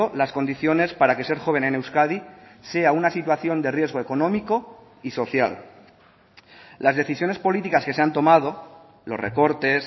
las condiciones para que ser joven en euskadi sea una situación de riesgo económico y social las decisiones políticas que se han tomado los recortes